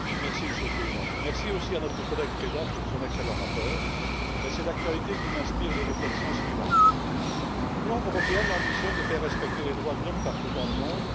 Monsieur le Président, je remercie notre collègue Preda pour son excellent rapport, mais c'est l'actualité qui m'inspire les réflexions suivantes l'Union européenne ambitionne de faire respecter les droits de l'homme partout dans le monde.